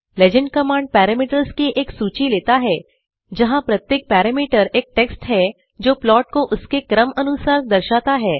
legend command parameters की एक सूची लेता है जहाँ प्रत्येक पैरामीटर एक टेक्स्ट है जो प्लॉट को उसके क्रम अनुसार दर्शाता है